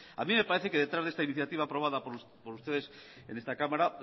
a mí me parece que detrás de esta iniciativa aprobada por ustedes en esta cámara